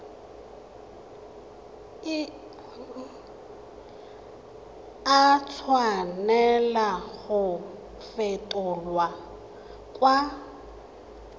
a tshwanela go fetolwa kwa